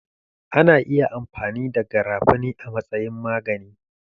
Ana iya amfani da garafuni a matsayin magani